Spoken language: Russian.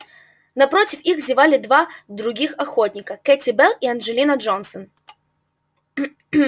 напротив них зевали два других охотника кэти белл и анджелина джонсон